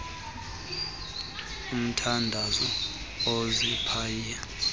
mthandazo iziphayi phayi